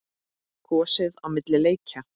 Kosið á milli leikja?